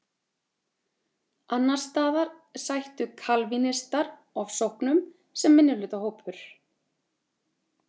Annars staðar sættu kalvínistar ofsóknum sem minnihlutahópur.